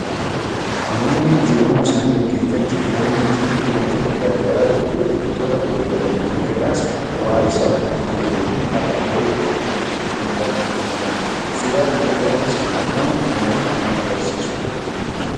Namoonni jiruu isaanii gaggeeffachuuf daandii cinaatti wantoota gar garaa gurguru. Wantoota gurguraman kana irraas bu'aa isaa kan fayyadamanii har'aa borittu kan ittiin tarkaanfatanidha. Suuraa kana irrattis kan argamu kanuma kan agarsiisudha.